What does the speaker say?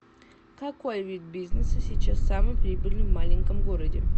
какой вид бизнеса сейчас самый прибыльный в маленьком городе